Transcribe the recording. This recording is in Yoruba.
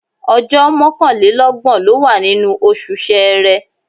Ọjọ́ mọ́kànlélọ́gbọ̀n ló wà nínú oṣù Ṣẹẹrẹ.